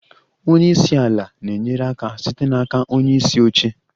Onye isi ala na-enyere aka site n'aka onye isi oche.